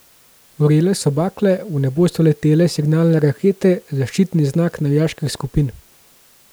Gorele so bakle, v nebo so letele signalne rakete, zaščitni znak navijaških skupin.